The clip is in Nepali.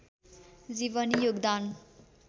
जीवनी योगदान